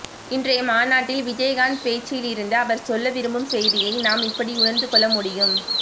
இன்றைய மாநாட்டில் விஜயகாந்த் பேச்சிலிருந்து அவர் சொல்ல விரும்பும் செய்தியை நாம் இப்படி உணர்ந்து கொள்ள முடியும்